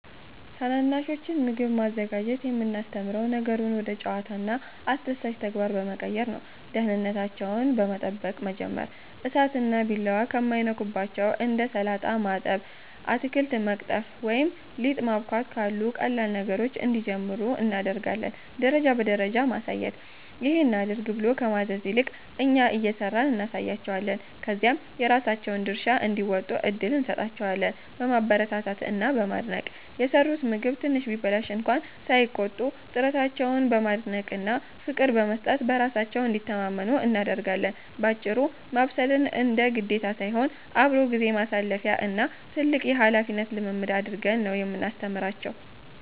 ታናናሾችን ምግብ ማዘጋጀት የምናስተምረው ነገሩን ወደ ጨዋታና አስደሳች ተግባር በመቀየር ነው፦ ደህንነታቸውን በመጠበቅ መጀመር፦ እሳትና ቢላዋ ከማይነኩባቸው እንደ ሰላጣ ማጠብ፣ አትክልት መቅጠፍ ወይም ሊጥ ማቦካት ካሉ ቀላል ነገሮች እንዲጀምሩ እናደርጋለን። ደረጃ በደረጃ ማሳየት፦ "ይሄን አድርግ" ብሎ ከማዘዝ ይልቅ፣ እኛ እየሰራን እናሳያቸዋለን፤ ከዚያም የራሳቸውን ድርሻ እንዲወጡ እድል እንሰጣቸዋለን። በማበረታታት እና በማድነቅ፦ የሰሩት ምግብ ትንሽ ቢበላሽ እንኳ ሳይቆጡ፣ ጥረታቸውን በማድነቅና ፍቅር በመስጠት በራሳቸው እንዲተማመኑ እናደርጋለን። ባጭሩ፤ ማብሰልን እንደ ግዴታ ሳይሆን፣ አብሮ ጊዜ ማሳለፊያ እና ትልቅ የኃላፊነት ልምምድ አድርገን ነው የምናስተምራቸው።